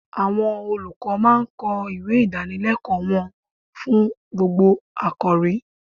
Àwọn olùkọ́ máa kọ ìwé Ìdánilẹ́kọ̀ọ́ fún gbogbo àkọ̀rí.